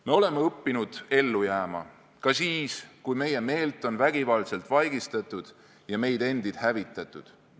Me oleme õppinud ellu jääma, ka siis, kui meie meelt on vägivaldselt vaigistatud ja meid endid hävitatud.